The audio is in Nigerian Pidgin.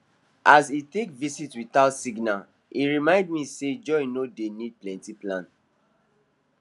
as e take visit without signal e remind me say joy no dey need plenty plan